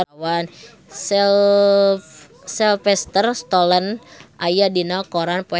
Sylvester Stallone aya dina koran poe Saptu